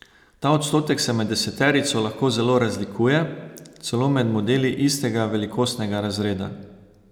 Ta odstotek se med deseterico lahko zelo razlikuje, celo med modeli istega velikostnega razreda.